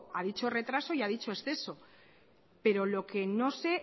a dicho retraso y a dicho exceso pero lo que no sé